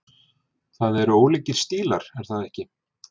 Það eru ólíkir stílar er það ekki?